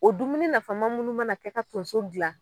O dumuni nafama munnu mana kɛ ka tonso dilan